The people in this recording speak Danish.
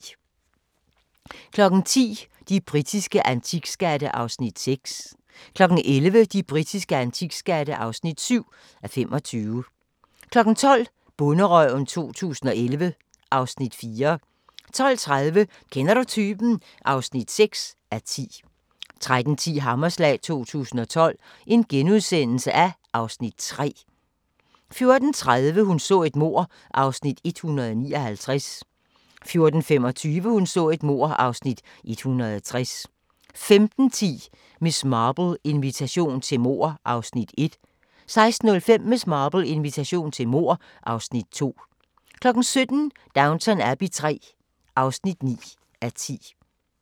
10:00: De britiske antikskatte (6:25) 11:00: De britiske antikskatte (7:25) 12:00: Bonderøven 2011 (Afs. 4) 12:30: Kender du typen? (6:10) 13:10: Hammerslag 2012 (Afs. 3)* 13:40: Hun så et mord (Afs. 159) 14:25: Hun så et mord (Afs. 160) 15:10: Miss Marple: Invitation til mord (Afs. 1) 16:05: Miss Marple: Invitation til mord (Afs. 2) 17:00: Downton Abbey III (9:10)